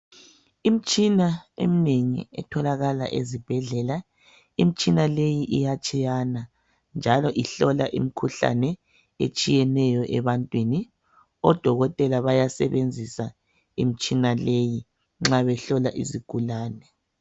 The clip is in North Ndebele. Imtshina eminengi etholakala ezibhedlela, imtshina leyi iyatshiyana njalo ihlola imkhuhlane etshiyeneyo ebantwini. Odokotela bayasebenzisa imitshina leyi nxa behlola izigulane.